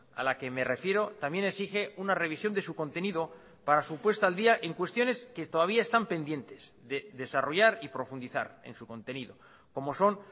a la que me refiero también exige una revisión de su contenido para su puesta al día en cuestiones que todavía están pendientes de desarrollar y profundizar en su contenido como son